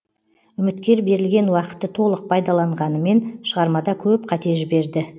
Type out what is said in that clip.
үміткер берілген уақытты толық пайдаланғанымен шығармада көп қате жіберді